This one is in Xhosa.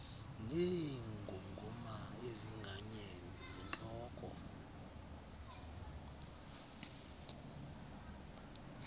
neengongoma ezinganye zentloko